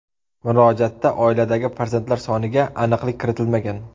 Murojaatda oiladagi farzandlari soniga aniqlik kiritilmagan.